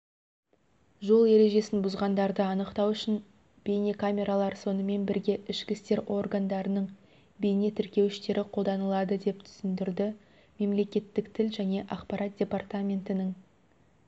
жол ережесін бұзғандарды анықтау үшін бейнекамералар сонымен бірге ішкі істер органдарының бейне тіркеуіштері қолданылады деп түсіндірді мемлекеттік тіл және ақпарат департаментінің